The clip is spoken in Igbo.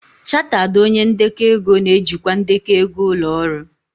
Chartered onye ndekọ ego na-ejikwa ndekọ ego ụlọ ọrụ.